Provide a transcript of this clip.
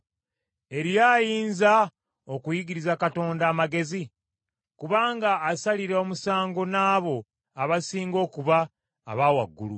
“Eriyo ayinza okuyigiriza Katonda amagezi, kubanga asalira omusango n’abo abasinga okuba aba waggulu?